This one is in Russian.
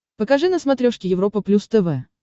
покажи на смотрешке европа плюс тв